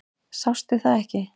Sástu það ekki?